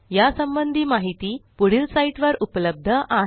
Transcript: यासंबंधी माहिती पुढील साईटवर उपलब्ध आहे